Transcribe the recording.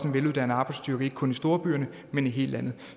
veluddannet arbejdsstyrke ikke kun i storbyerne men i hele landet